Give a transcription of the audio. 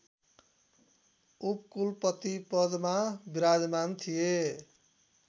उपकुलपतिपदमा विराजमान थिए